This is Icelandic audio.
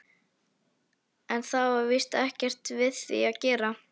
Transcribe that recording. En það var víst ekkert við því að gera.